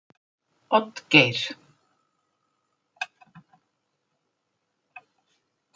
Oddgeir